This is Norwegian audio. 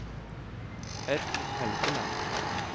Edmund Helgeland